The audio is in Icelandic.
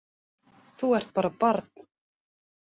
Þú ert bara barn.